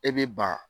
E bɛ ba